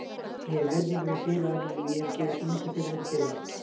Ég hef virðingu fyrir félaginu og ég hef gefið svo mikið fyrir þetta félag.